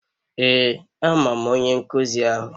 Ee amam onye nkuzi ahu.